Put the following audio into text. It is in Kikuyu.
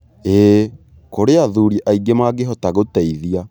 ĩĩ, kũrĩ athuri aingĩ mangĩhota gũteithia.